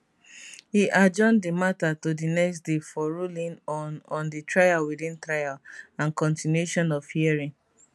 e adjourn di matter to di next day for ruling on on di trial within trial and continuation of hearing